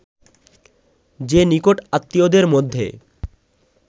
যে নিকট-আত্মীয়দের মধ্যে